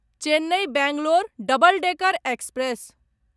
Chennai Bangalore double decker express